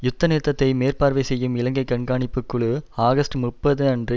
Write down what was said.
யுத்த நிறுத்தத்தை மேற்பார்வை செய்யும் இலங்கை கண்காணிப்பு குழு ஆகஸ்ட் முப்பது அன்று